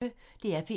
DR P1